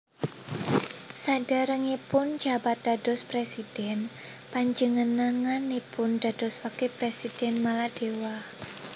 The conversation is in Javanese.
Saderengipun njabat dados presidhèn panjenenganipun dados Wakil Presidhèn Maladewa